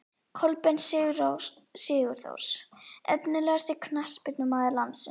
Kolbeinn Sigþórs Efnilegasti knattspyrnumaður landsins?